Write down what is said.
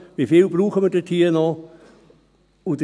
Wie viel brauchen wir dort noch?